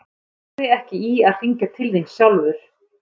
Hann lagði ekki í að hringja til þín sjálfur.